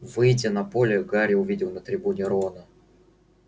выйдя на поле гарри увидел на трибуне рона